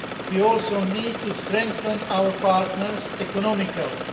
We also need to strengthen our partners economically.